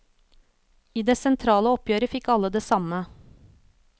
I det sentrale oppgjøret fikk alle det samme.